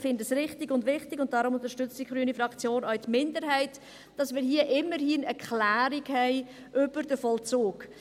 Ich finde es richtig und wichtig – und deshalb unterstützt die grüne Fraktion auch die Minderheit –, dass wir hier immerhin eine Klärung haben über den Vollzug.